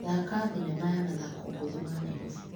Thaka thinema ya mathako ngũthi ma Naĩrobĩ .